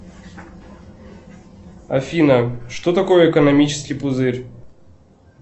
афина что такое экономический пузырь